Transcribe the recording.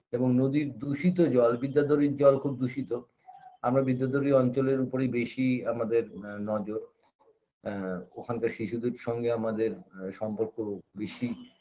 এবং নদীর দূষিত জল বিদ্যাধরীর জল খুব দূষিত আমরা বিদ্যাধরীর অঞ্চলের উপরেই বেশি আমাদের আ নজর আ ওখানকার শিশুদের সঙ্গে আমাদের সম্পর্ক বেশি